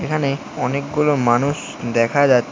এখানে অনেকগুলো মানুষ দেখা যাচ--